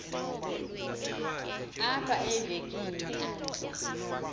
apha evekini aze